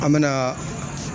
An mɛ na